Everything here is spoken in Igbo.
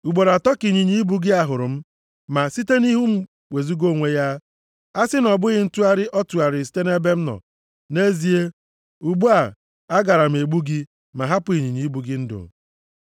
Ugboro atọ ka ịnyịnya ibu a hụrụ m, ma site nʼihu m wezuga onwe ya. A sị na ọ bụghị ntụgharị ọ tụgharịrị site nʼebe m nọ, nʼezie, ugbu a, a gara m egbu gị ma hapụ ịnyịnya ibu gị ndụ.”